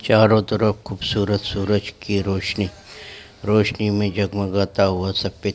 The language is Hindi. चारो तरफ खूबसूरत सूरज की रोशनी रौशनी में जगमगाता हुआ सबपे --